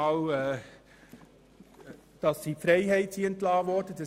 Zuerst einmal, weil sie in die Freiheit entlassen worden sind.